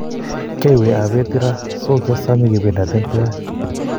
Kioywei obet Ira, so kiosome kependaten twan.